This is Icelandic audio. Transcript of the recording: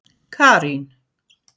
Karín